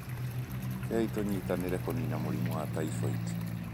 Rekei tũnyitanĩre kũniina mũrimũ wa typhoid.